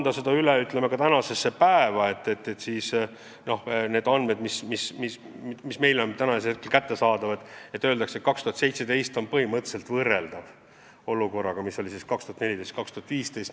Kui kanda see üle tänasesse päeva ja võtta aluseks andmed, mis meil on praegu kättesaadavad, siis on väidetud, et 2017. aasta seis on põhimõtteliselt võrreldav olukorraga, mis oli 2014–2015.